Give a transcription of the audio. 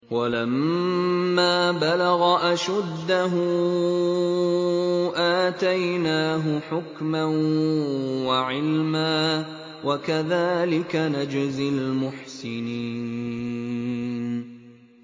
وَلَمَّا بَلَغَ أَشُدَّهُ آتَيْنَاهُ حُكْمًا وَعِلْمًا ۚ وَكَذَٰلِكَ نَجْزِي الْمُحْسِنِينَ